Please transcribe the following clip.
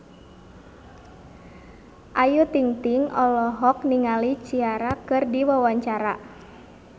Ayu Ting-ting olohok ningali Ciara keur diwawancara